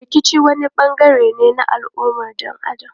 Rikici wani bangare ne na al'ummar dan Adam.